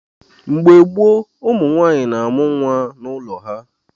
Mgbe gboo, ụmụnwaanyị na-amụ nwa n’ụlọ ha.